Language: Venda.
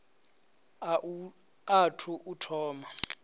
a u athu u thoma